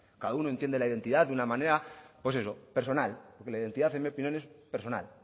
cada uno entiende la identidad de una manera pues eso personal porque la identidad en mi opinión es personal